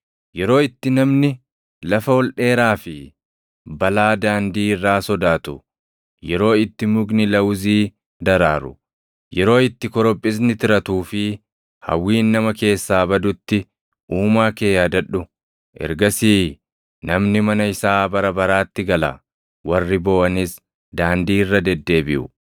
yeroo itti namni lafa ol dheeraa fi balaa daandii irraa sodaatu, yeroo itti mukni lawuzii daraaru, yeroo itti korophisni tiratuu fi hawwiin nama keessaa badutti Uumaa kee yaadadhu. Ergasii namni mana isaa bara baraatti gala; warri booʼanis daandii irra deddeebiʼu.